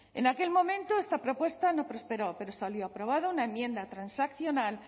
en aquel momento esta propuesta no prosperó pero salió aprobada una enmienda transaccional